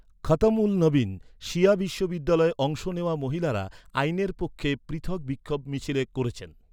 খতম উল নবীন শিয়া বিশ্ববিদ্যালয়ে অংশ নেওয়া মহিলারা আইনের পক্ষে পৃথক বিক্ষোভ মিছিল করেছেন।